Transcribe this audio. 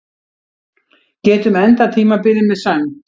Getum endað tímabilið með sæmd